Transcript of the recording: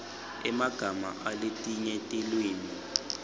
emagama aletinye tilwimi